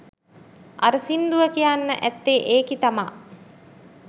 අර සින්දුව කියන්න ඇත්තේ ඒකි තමා